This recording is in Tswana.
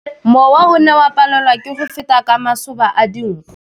Mowa o ne o palelwa ke go feta ka masoba a dinko.